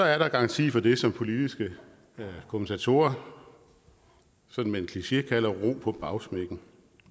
er der garanti for det som politiske kommentatorer sådan med en kliché kalder ro på bagsmækken